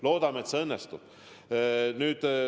Loodame, et see õnnestub!